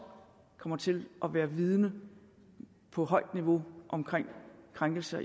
kommer til at være vidende på højt niveau om krænkelser